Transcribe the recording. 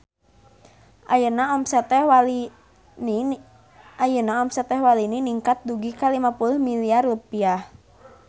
Ayeuna omset Teh Walini ningkat dugi ka 50 miliar rupiah